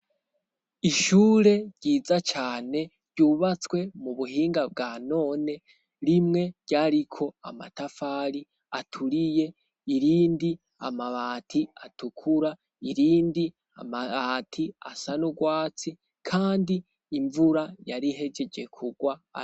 ishure ryiza cane ryubatswe mu buhinga bwa none rimwe ryariko amatafari aturiye irindi amabati atukura irindi amabati asanurwatsi kandi imvura yarihejejekugwa